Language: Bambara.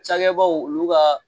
Cɛkɛbaw olu ka